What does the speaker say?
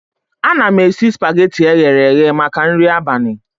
Ana m esi spageti eghere eghe maka nri abalị